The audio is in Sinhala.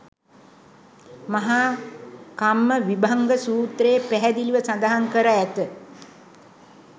මහා කම්මවිභංග සූත්‍රයේ පැහැදිලිව සඳහන් කර ඇත.